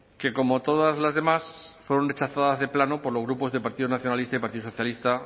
que como todas las demás fueron rechazadas de plano por los grupos del partido nacionalista y partido socialista